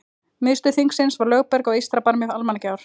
Miðstöð þingsins var Lögberg á eystra barmi Almannagjár.